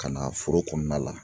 Ka na foro kɔnɔna la